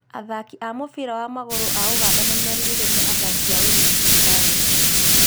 Athaki a mũbira wa magũrũ a ũganda nĩ merirĩirio nĩ athaki a Ulinzi stars